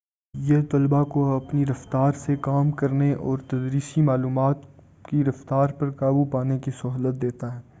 یہ طلباء کو اپنی رفتار سے کام کرنے اور تدریسی معلومات کی رفتار پر قابو پانے کی سہولت دیتا ہے